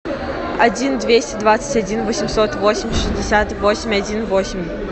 один двести двадцать один восемьсот восемь шестьдесят восемь один восемь